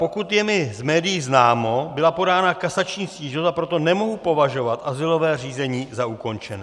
Pokud je mi z médií známo, byla podána kasační stížnost, a proto nemohu považovat azylové řízení za ukončené.